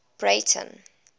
breyten